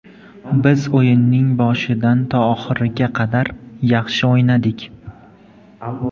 Biz o‘yinning boshidan to oxiriga qadar yaxshi o‘ynadik.